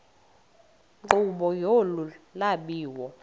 nkqubo yolu lwabiwo